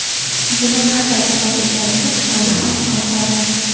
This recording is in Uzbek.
Buni qanday azob ekanini tasavvur ham qila olmaysiz.